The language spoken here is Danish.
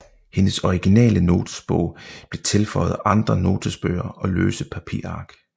Hendes originale notesbog blev tilføjet andre notesbøger og løse papirark